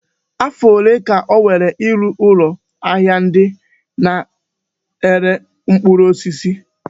Afọ ole ka o were ịrụ ụlọ ahịa ndị na-ere mkpụrụ osisi?